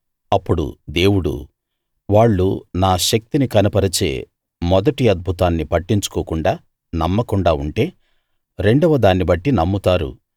అప్పుడు దేవుడు వాళ్ళు నా శక్తిని కనపరిచే మొదటి అద్భుతాన్ని పట్టించుకోకుండా నమ్మకుండా ఉంటే రెండవ దాన్ని బట్టి నమ్ముతారు